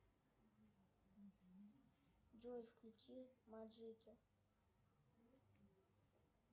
джой включи маджики